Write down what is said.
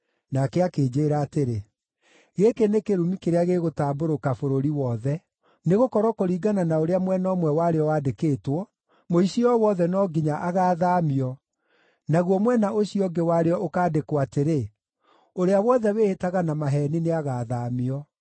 Nake akĩnjĩĩra atĩrĩ, “Gĩkĩ nĩ kĩrumi kĩrĩa gĩgũtambũrũka bũrũri wothe; nĩgũkorwo kũringana na ũrĩa mwena ũmwe warĩo wandĩkĩtwo, mũici o wothe no nginya agaathaamio, naguo mwena ũcio ũngĩ warĩo ũkandĩkwo atĩrĩ, ũrĩa wothe wĩhĩtaga na maheeni nĩagathaamio.